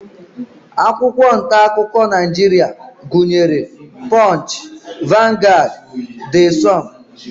Akwụkwọ ntaakụkọ Naijiria gụnyere punch, vanguard, the sun